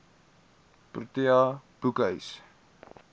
protea boekhuis